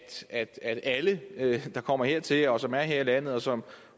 alle der kommer hertil som er her i landet og som